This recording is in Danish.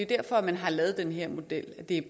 derfor man har lavet den her model det er